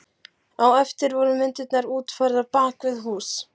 Á eftir voru myndirnar útfærðar bak við hús.